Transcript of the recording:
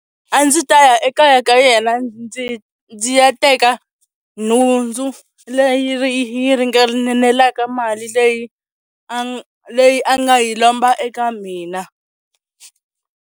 A ndzi ta ya ekaya ka yena ndzi ndzi ya teka nhundzu leyi ri yi ringanelaka mali leyi a leyi a nga yi lomba eka mina.